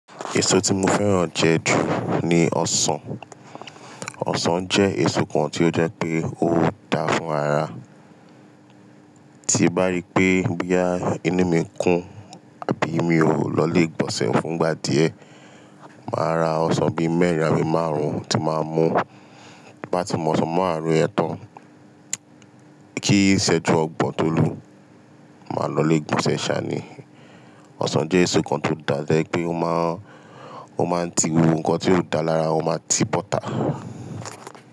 Èso tí mo fẹ́ràn jẹ ju ni ọsàn. Ọsàn jẹ́ èso kan tí ó jẹ́ pé ó dáa fún ara. Tí mbá rí pé boya inú mi kún àbí mi ò lọlé igbọ̀nsẹ̀ fún gbà díẹ̀, màá ra ọsàn bí mẹ́rin àbí márùn-ún tí màá mú bá ti mó ọsàn màraárun yen tàn. Kí ìṣẹ́jú ọgbọ̀n tó lù, màá lọlé igbọ̀nsẹ̀ sá ní. Ọsàn jẹ́ èso kan tó dáa to je pé ó máa ń ti gbogbo nǹkan tí ó dáa lára, ó máa ti boọ̀tà.